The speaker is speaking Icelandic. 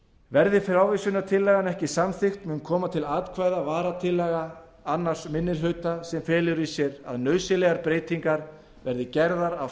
verði frávísunartillagan ekki samþykkt mun koma til atkvæða varatillaga annar minni hluta sem felur í sér að nauðsynlegar breytingar verði gerðar á